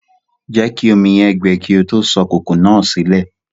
Jẹ̀kí omi yẹn gbẹ̀ kí o tó sọ kòkò náà silẹ̀